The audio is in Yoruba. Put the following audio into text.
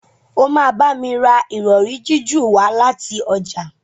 o ma bá mí rà Ìrọ̀rí jiju wá láti ọjà.